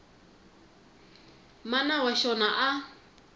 mana wa xona a a